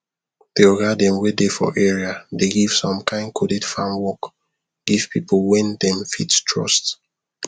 the oga them wey dey for area dey give some kind coded farm work give people wen them fit trust